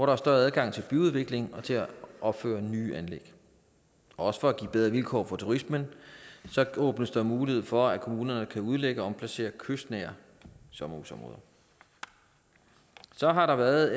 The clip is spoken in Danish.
er større adgang til byudvikling og til at opføre nye anlæg og for at give bedre vilkår for turismen åbnes der også mulighed for at kommunerne kan udlægge og omplacere kystnære sommerhusområder så har der været